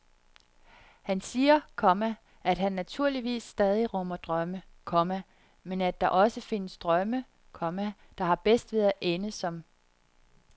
Han siger, komma at han naturligvis stadig rummer drømme, komma men at der også findes drømme, komma der har bedst ved at ende som